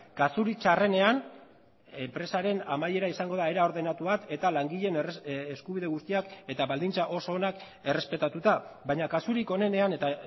kasurik txarrenean enpresaren amaiera izango da era ordenatu bat eta langileen eskubide guztiak eta baldintza oso onak errespetatuta baina kasurik onenean eta